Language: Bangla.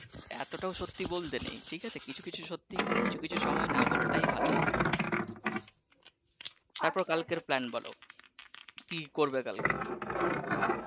এতোটাও সত্যি ও বলতে নেই ঠিক আছে কিছু কিছু সত্যি কিছু কিছু সময় নাহ বলাটাই ভালো তারপর কালকের plane বলো কি করবে কালকে।